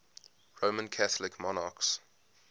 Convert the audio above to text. roman catholic monarchs